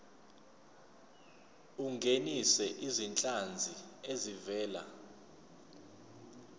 ungenise izinhlanzi ezivela